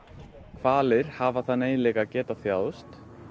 hvalir hafa þann eiginleika til að geta þjáðst